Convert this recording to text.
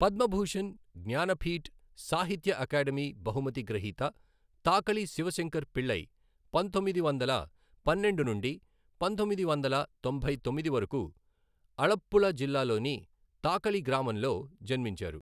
Padma Bhushan, Jnanpith, Sahitya academy బహుమతి గ్రహీత తాకళి శివశంకర పిళ్ళై, పంతొమ్మిది వందల పన్నెండు నుండి పంతొమ్మిది వందల తొంభై తొమ్మిది వరకు, అలప్పుళ జిల్లాలోని తాకళి గ్రామంలో జన్మించారు.